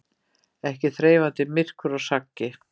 Ekki þreifandi myrkur og saggi.